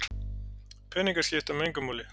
Peningar skipta mig engu máli